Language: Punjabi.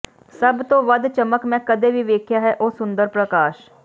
ਸਭ ਤੋਂ ਵੱਧ ਚਮਕ ਮੈਂ ਕਦੇ ਵੀ ਵੇਖਿਆ ਹੈ ਉਹ ਸੁੰਦਰ ਪ੍ਰਕਾਸ਼